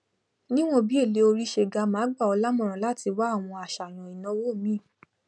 níwọn bí èlé orí se ga máa gba ọ lámọràn láti wá àwọn àsàyàn ìnáwó míì